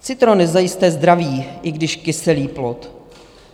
Citron je zajisté zdravý, i když kyselý plod.